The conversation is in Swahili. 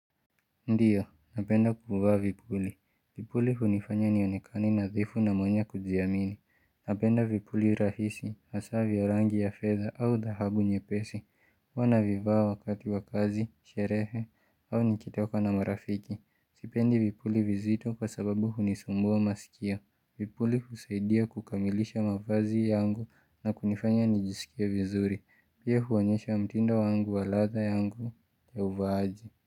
Ndiyo, napenda kuvaa vipuli. Vipuli hunifanya nionekani nadhifu na mwanye kujiaminia. Napenda vipuli rahisi, hasaa ya rangi ya fedha au dhaabu nyepesi, huwa naivaa wakati wa kazi, sherehe au nikitoka na marafiki. Sipendi vipuli vizito kwa sababu hunisumbua maskio. Vipuli husaidia kukamilisha mavazi yangu na kunifanya nijisikie vizuri. Pia huonyesha mtindo wa ladha yangu ya uvaaji.